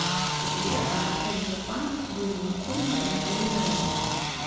сбер анатолий попанов юрий никулин и андрей миронов